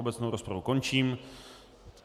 Obecnou rozpravu končím.